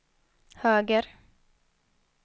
höger